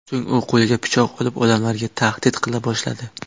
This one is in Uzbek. So‘ng u qo‘liga pichoq olib, odamlarga tahdid qila boshladi.